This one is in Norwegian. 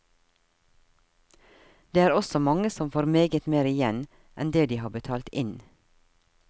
Det er også mange som får meget mer igjen enn det de har betalt inn.